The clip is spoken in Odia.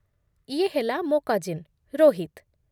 ଇଏ ହେଲା ମୋ କଜିନ୍, ରୋହିତ ।